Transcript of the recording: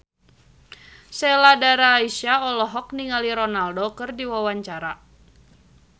Sheila Dara Aisha olohok ningali Ronaldo keur diwawancara